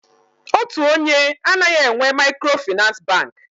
Otu onye anaghị enwe Maịkrofịnansị Bankị.